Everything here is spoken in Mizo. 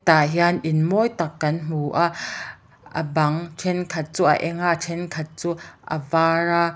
tah hian in mawi tak kan hmu a a bang thenkhat chu a eng a a thenkhat chu a var a.